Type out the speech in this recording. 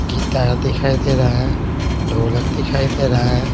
Guitar दिखाई दे रहा है ढोलक दिखाई दे रहा है।